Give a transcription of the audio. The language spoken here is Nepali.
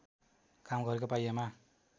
काम गरेको पाइएमा